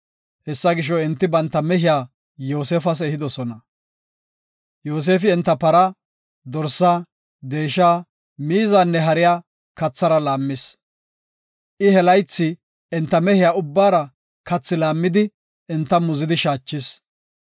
Hessa gisho, enti banta mehiya Yoosefas ehidosona. Yoosefi enta para, dorsa, deesha, miizanne hariya kathara laammis. I he laythi enta mehiya ubbara kathaa laammidi, enta muzidi shaachis.